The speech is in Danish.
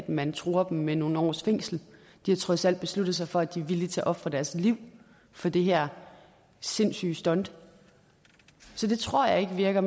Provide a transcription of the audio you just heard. man truer dem med nogle års fængsel de har trods alt besluttet sig for at de er villige til at ofre deres liv for det her sindssyge stunt så det tror jeg ikke virker